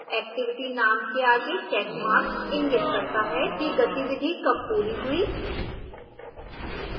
activity name के आगे checkmark इंगित करता है कि गतिविधि कब पूरी हुई